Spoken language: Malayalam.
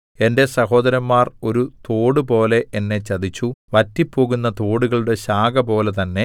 എന്റെ സഹോദരന്മാർ ഒരു തോടുപോലെ എന്നെ ചതിച്ചു വറ്റിപ്പോകുന്ന തോടുകളുടെ ശാഖപോലെ തന്നെ